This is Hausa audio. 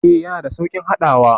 Ee, yana da sauƙin haɗawa.